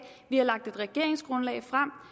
vi har lagt et regeringsgrundlag frem